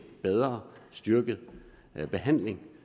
bedre og styrket behandling